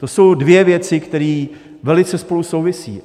To jsou dvě věci, které velice spolu souvisí.